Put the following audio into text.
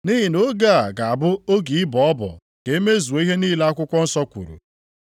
Nʼihi na oge a ga-abụ oge ịbọ ọbọ ka e mezuo ihe niile akwụkwọ nsọ kwuru.